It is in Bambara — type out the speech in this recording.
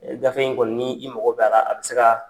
Ee gafe in kɔni n'i mɔgɔ b'a la , a bi se ka